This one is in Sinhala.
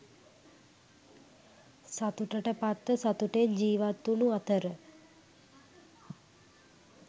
සතුටට පත්ව සතුටෙන් ජීවත්වුණු අතර,